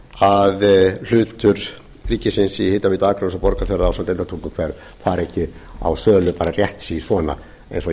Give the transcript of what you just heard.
að hlutur ríkisins í hitaveitu akraness og borgarfjarðar ásamt deildartunguhver fari ekki á sölu bara rétt si svona eins og